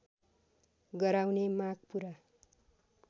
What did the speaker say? गराउने माग पूरा